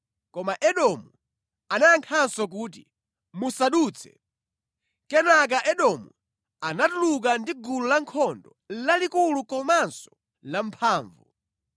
Koma Edomu anayankhanso kuti, “Musadutse.” Kenaka Edomu anatuluka ndi gulu lankhondo lalikulu komanso lamphamvu.